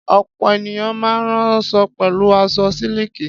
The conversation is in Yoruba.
Ọ̀pọ̀ ènìyàn máa ń ránṣọ pẹ̀lú aṣọ sílíkì.